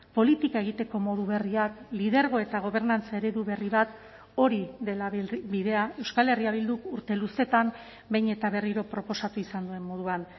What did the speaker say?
politika egiteko modu berriak lidergo eta gobernantza eredu berri bat hori dela bidea euskal herria bilduk urte luzeetan behin eta berriro proposatu izan duen moduan